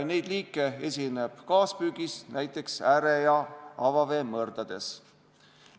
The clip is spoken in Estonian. Neid liike esineb kaaspüügis näiteks ääre- ja avaveemõrdades.